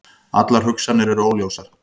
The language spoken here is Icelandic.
Allar hugsanir eru óljósar.